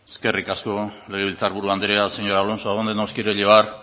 eskerrik asko legebiltzar buru anderea señor alonso a dónde nos quiere llevar